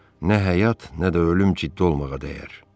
Nə həyat, nə də ölüm ciddi olmağa dəyər.